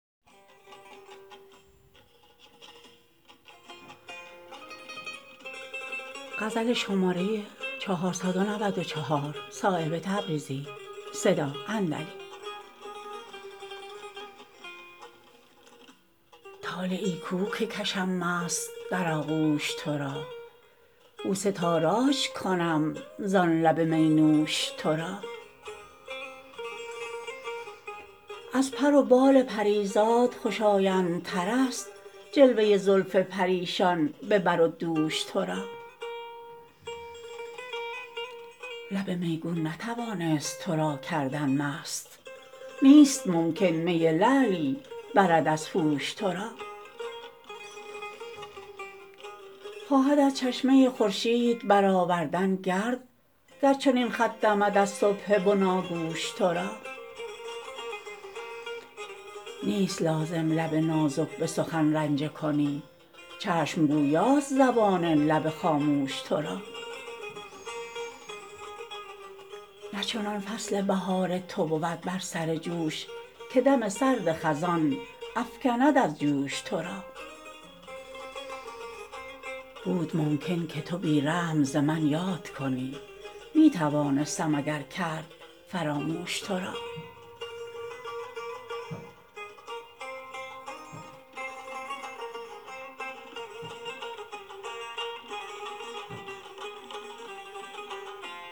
طالعی کو که کشم مست در آغوش ترا بوسه تاراج کنم زان لب می نوش ترا از پر و بال پریزاد خوش آیندترست جلوه زلف پریشان به بر و دوش ترا لب میگون نتوانست ترا کردن مست نیست ممکن می لعلی برد از هوش ترا خواهد از چشمه خورشید برآوردن گرد گر چنین خط دمد از صبح بناگوش ترا نیست لازم لب نازک به سخن رنجه کنی چشم گویاست زبان لب خاموش ترا نه چنان فصل بهار تو بود بر سر جوش که دم سرد خزان افکند از جوش ترا بود ممکن که تو بی رحم ز من یاد کنی می توانستم اگر کرد فراموش ترا